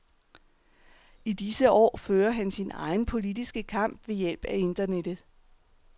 I disse år fører han sin egen politiske kamp ved hjælp af Internettet.